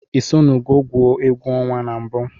Isonugo gwụọ. egwu ọnwa na mbu?